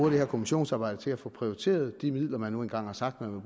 her kommissionsarbejde bruges til at få prioriteret de midler man nu engang har sagt man